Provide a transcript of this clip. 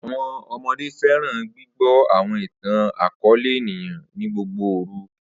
Awọn ọmọde fẹran gbigbọ awọn itan-akọọlẹ eniyan ni gbogbo oru.